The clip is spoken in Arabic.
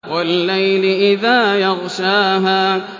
وَاللَّيْلِ إِذَا يَغْشَاهَا